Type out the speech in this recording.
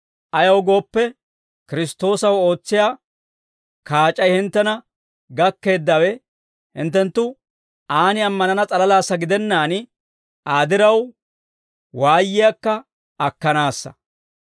Ayaw gooppe, Kiristtoosaw ootsiyaa kaac'ay hinttena gakkeeddawe hinttenttu aan ammanana s'alalaassa gidennaan Aa diraw waayiyaakka akkanaassa.